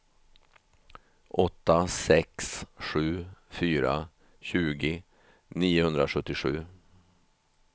åtta sex sju fyra tjugo niohundrasjuttiosju